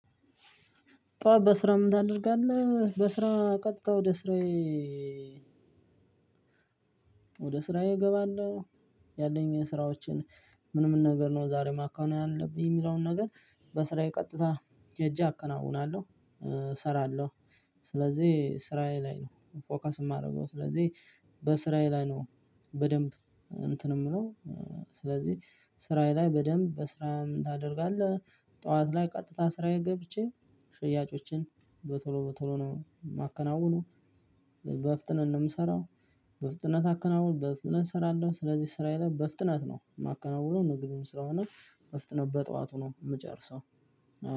ጠዋት በስራ ምን ታደርጋለህ? በስራ ቀጥታ ወደ ስራዬ ወደ ስራዬ እገባለሁ። ያለኝ ስራዎቸን ምን ምን ነገር ነው ዛሬ ማካሄድ ያለብኝ የሚለውን ነገር። በስራዬ ቀጥታ ሄጄ አከናውናለሁ እሰራለሁ። ስለዚህ ስራዬ ላይ ነው ፎከስ የማደርገው። ስለዚህ በስራዬ ላይ ነው በደንብ እንትን እምለው። ስለዚህ ስራዬ ላይ በደንብ በስራ ታደርጋለህ? ጠዋት ላይ ቀጥታ ስራዬ ገብቼ ጥያጮችን በቶሎ በቶሎ ነው የማከናውነው። በፍጥነት ነው ምሰራው። በፍጥነት አከናውን በፍጥነት እሰራለሁ ስለዚህ ስራ የለም በፍጥነት ነው የማከናውነው። ንግድም ስራውን በፍጥነት በጠዋቱ ነው ምጨርሰው።